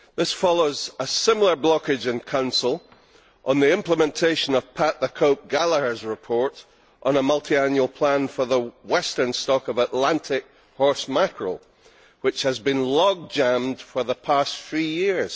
This follows a similar blockage in Council on the implementation of Pat the Cope Gallagher's report on a multiannual plan for the western stock of Atlantic horse mackerel, which has been log jammed for the past three years.